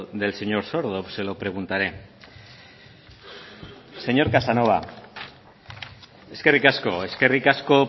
del señor sordo se lo preguntaré señor casanova eskerrik asko eskerrik asko